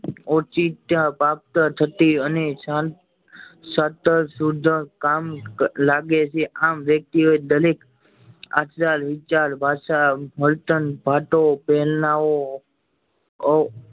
ઓછી ઈચ્છા પ્રાપ્ત થતીં અને કામ લાગે છે આમ વ્યક્તિઓ એ દરેક આપડા વિચાર ભાષા વર્તન વાતો પ્રેરણા ઓ અ